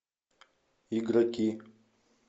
игроки